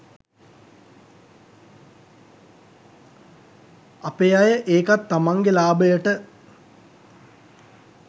අපේ අය ඒකත් තමන්ගේ ලාබයට